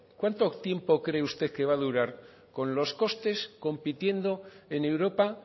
cuánto tiempo cree usted que va durar con los costes compitiendo en europa